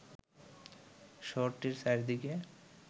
শহরটির চারদিকে